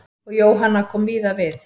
Og Jóhanna kom víða við.